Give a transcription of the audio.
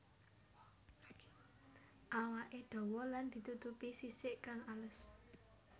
Awaké dawa lan ditutupi sisik kang alus